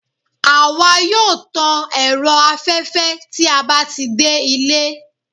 awa yoo tàn erò aféfé tí a ba ti de ìlé